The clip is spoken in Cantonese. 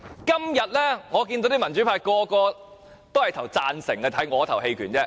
今天我看到大部分民主派投贊成票，只得我投棄權票而已。